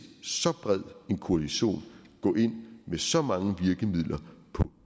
så bred en koalition gå ind med så mange virkemidler